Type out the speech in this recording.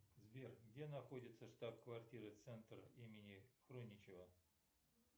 сбер где находится штаб квартира центр имени хруничева